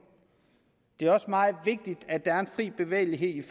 det er også meget vigtigt at der er en fri bevægelighed